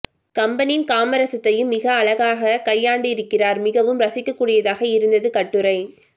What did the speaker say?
கம்பனின் காமரசத்தையும் ஆசிரியர் மிக அழகாக கையாண்டிருக்கிறார் மிகவும் ரசிக்க கூடியதாக இருந்தது கட்டுரை